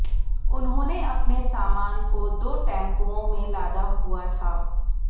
उन्होंने अपने सामान को दो टैम्पुओं में लादा हुआ था